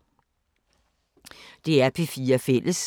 DR P4 Fælles